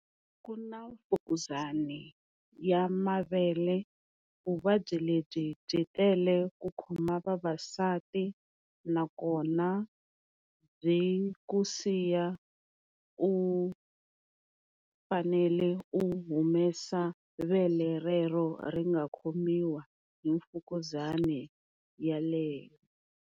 Ku na mfukuzane ya mavele, vuvabyi lebyi byi tele ku khoma vavasati nakona byi ku siya u fanele u humesa vele rero ri nga khomiwa hi mfukuzane yaleyo.